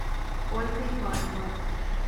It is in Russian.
ольга иванова